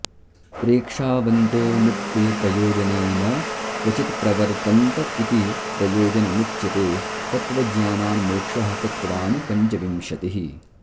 प्रेक्षावन्तोऽनुक्ते प्रयोजने न क्वचित्प्रवर्तन्त इति प्रयोजनमुच्यते तत्त्वज्ञानान्मोक्षः तत्त्वानि पञ्चविंशतिः